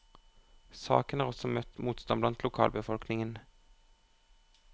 Saken har også møtt motstand blant lokalbefolkningen.